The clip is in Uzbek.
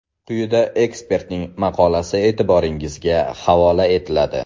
Quyida ekspertning maqolasi e’tiboringizga havola etiladi.